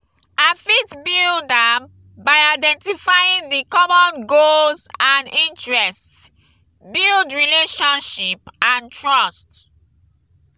i fit build am by identifying di common goals and interests build relationship and trust.